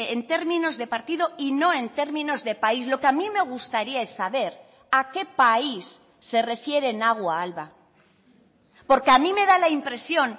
en términos de partido y no en términos de país lo que a mí me gustaría saber a qué país se refiere nagua alba porque a mí me da la impresión